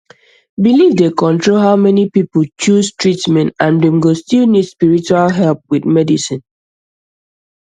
belief dey control how many people choose treatment and dem go still need spiritual help with medicine